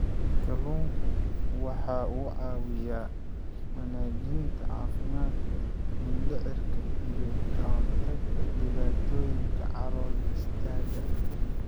Kalluunku waxa uu caawiyaa wanaajinta caafimaadka mindhicirka iyo ka hortagga dhibaatooyinka calool-istaagga.